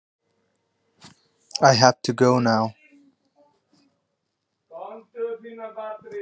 Ég verð að fara núna!